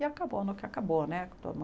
E acabou no que acabou né. Com todo mundo